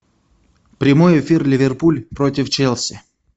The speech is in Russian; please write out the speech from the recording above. прямой эфир ливерпуль против челси